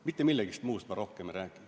Mitte millestki muust ma rohkem ei räägi.